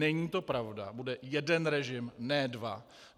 Není to pravda, bude jeden režim, ne dva.